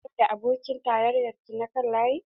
Kina tare da abokin tarayyar ki na kan layi?